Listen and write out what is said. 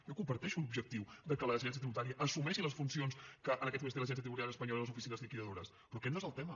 jo comparteixo l’objectiu que l’agència tributària assumeixi les funcions que en aquests moments té l’agència tributària espanyola i les oficines liquidadores però aquest no és el tema